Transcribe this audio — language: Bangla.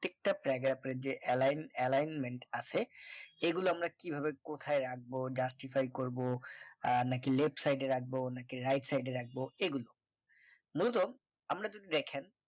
প্রত্যেকটা paragraph এর যে align alignment আছে এগুলো আমরা কিভাবে কোথায় রাখবো justify করব আর নাকি left side এ রাখবো নাকি right side এ রাখবো এগুলো মূলত আমরা যদি দেখেন